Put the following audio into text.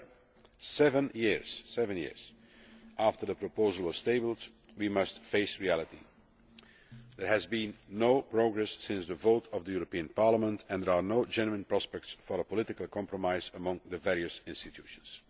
However, seven years after the proposal was tabled, we must face reality there has been no progress since the vote of the European Parliament and there are no genuine prospects for a political compromise amongst the various institutions.